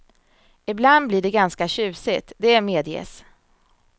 Ibland blir det ganska tjusigt, det medges.